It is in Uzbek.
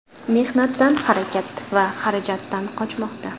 Mehnatdan, harakat va xarajatdan qochmoqda.